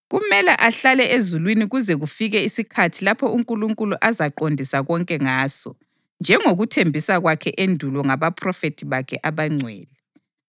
Kumele ahlale ezulwini kuze kufike isikhathi lapho uNkulunkulu azaqondisa konke ngaso, njengokuthembisa kwakhe endulo ngabaphrofethi bakhe abangcwele.